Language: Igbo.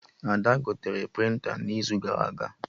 Ada gotere prịnta n'izu gara aga